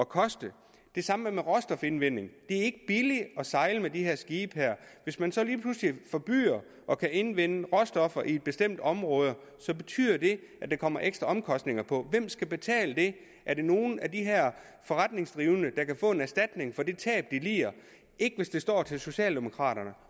koste det samme gælder for råstofindvinding det er ikke billigt at sejle med de her skibe og hvis man så lige pludselig forbyder at indvinde råstoffer i et bestemt område betyder det at der kommer ekstra omkostninger på hvem skal betale det er der nogen af de her forretningsdrivende der kan få en erstatning for det tab de lider ikke hvis det står til socialdemokraterne